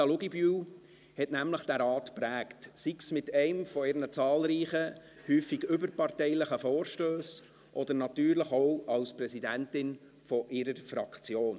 Auch Anita Luginbühl hat diesen Rat nämlich geprägt, sei es mit ihren zahlreichen, häufig überparteilichen Vorstössen oder natürlich auch als Präsidentin ihrer Fraktion.